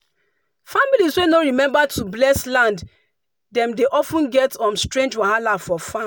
families wey no remember to bless land dem dey of ten get um strange wahala for farm.